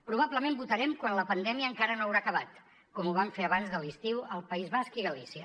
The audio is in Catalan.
probablement votarem quan la pandèmia encara no haurà acabat com ho van fer abans de l’estiu al país basc i galícia